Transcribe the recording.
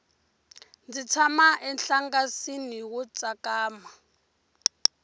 ndzi tshama enhlangasini wo tsakama